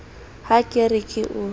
ha ke re ke o